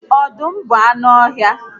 Ọdụm bụ anụ ọhịa